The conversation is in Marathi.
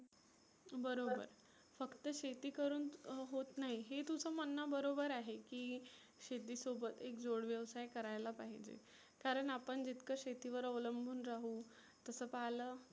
बरोबर. फक्त शेती करुण अं होत नाही हे तुझ म्हणन बरोबर आहे की शेती सोबत एक जोड व्यवसाय करायला पाहीजे. कारण आपण जितक शेतीवर अवलंबुन राहु तसं पाहलं